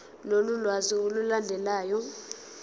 lolu lwazi olulandelayo